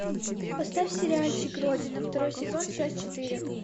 поставь сериальчик родина второй сезон часть четыре